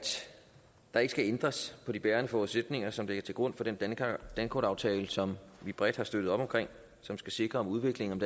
der ikke skal ændres på de bærende forudsætninger som ligger til grund for den dankortaftale som vi bredt har støttet op om og som skal sikre udviklingen